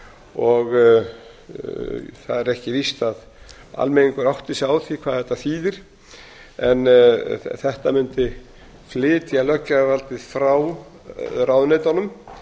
og það er ekki víst að almenningur átti sig á því hvað þetta þýðir en þetta mundi flytja löggjafarvaldið frá ráðuneytunum